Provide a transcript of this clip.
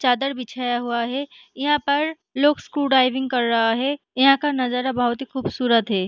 चादर बिछिया हुआ है यहाँ पर लोग स्कू ड्राइविंग कर रहा है यहाँ का नजारा बहुत ही खुबसूरत है।